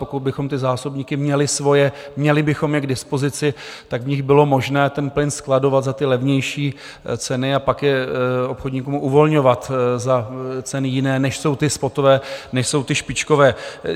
Pokud bychom ty zásobníky měli svoje, měli bychom je k dispozici, tak v nich bylo možné ten plyn skladovat za ty levnější ceny a pak je obchodníkům uvolňovat za ceny jiné, než jsou ty spotové, než jsou ty špičkové.